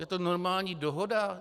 Je to normální dohoda?